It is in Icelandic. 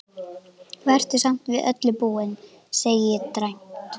Vertu samt við öllu búin, segi ég dræmt.